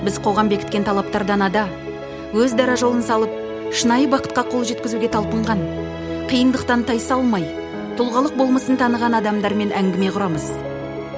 біз қоғам бекіткен талаптардан ада өз дара жолын салып шынайы бақытқа қол жеткізуге талпынған қиындықтан тайсалмай тұлғалық болмысын таныған адамдармен әңгіме құрамыз